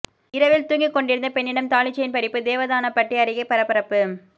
இரவில் தூங்கிக் கொண்டிருந்த பெண்ணிடம் தாலிச்செயின் பறிப்பு தேவதானப்பட்டி அருகே பரபரப்பு